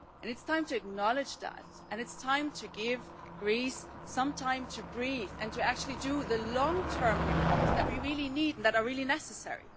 It is time to acknowledge that, and it is time to give Greece some time to breathe and to actually do the long term reforms that we really need and that are really necessary.